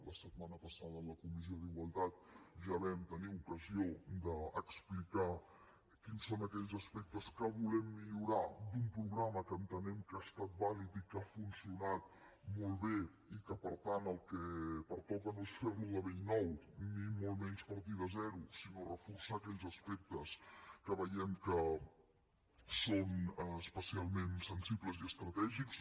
la setmana passada a la comissió d’igualtat ja vam tenir ocasió d’explicar quins són aquells aspectes que volem millorar d’un programa que entenem que ha estat vàlid i que ha funcionat molt bé i que per tant el que pertoca no és fer lo de bell nou ni molt menys partir de zero sinó reforçar aquells aspectes que veiem que són especialment sensibles i estratègics